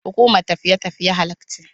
Hukumar tafiye tafiye halal ce.